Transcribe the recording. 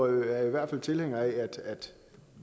i hvert fald tilhængere af at